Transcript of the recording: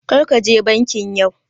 Karka je banki yau